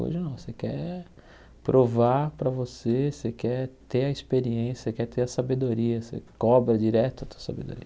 Hoje não, você quer provar para você, você quer ter a experiência, você quer ter a sabedoria, você cobra direto a tua sabedoria.